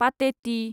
पाटेति